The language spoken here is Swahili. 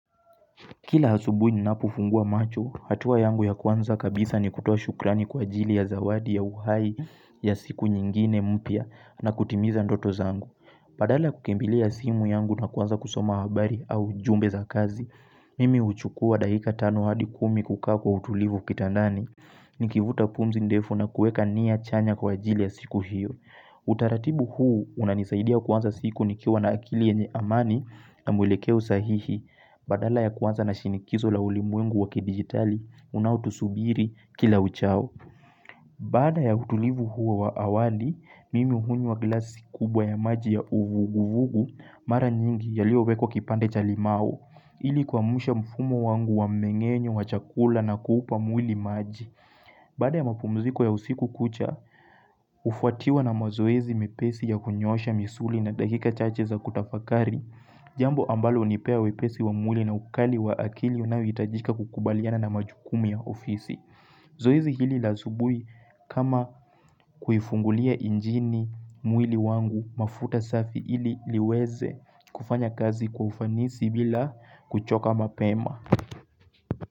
Kila asubuhi ninapofungua macho, hatua yangu ya kwanza kabisa ni kutoa shukrani kwa ajili ya zawadi ya uhai ya siku nyingine mpya na kutimiza ndoto zangu. Badala ya kukimbilia simu yangu na kuanza kusoma habari au jumbe za kazi, mimi huchukua dakika tano hadi kumi kukaa kwa utulivu kitandani. Nikivuta pumzi ndefu na kuweka nia chanya kwa ajili ya siku hiyo. Utaratibu huu unanisaidia kuanza siku nikiwa na akili yenye amani na mwelekeo sahihi. Badala ya kuanza na shinikizo la ulimwengu wakidigitali unaotusubiri kila uchao. Baada ya utulivu huo wa awali, mimi hunywa glasi kubwa ya maji ya uvuguvugu, Mara nyingi yaliyowekwa kipande cha limau ili kuamsha mfumo wangu wa mmeng'enyo wa chakula na kuupa mwili maji. Baada ya mapumziko ya usiku kucha, hufuatiwa na mazoezi mepesi ya kunyoosha misuli na dakika chache za kutafakari Jambo ambalo hunipea wepesi wa mwili na ukali wa akili unaohitajika kukubaliana na majukumu ya ofisi. Zoezi hili la asubuhi kama kuifungulia injini mwili wangu mafuta safi hili liweze kufanya kazi kwa ufanisi bila kuchoka mapema.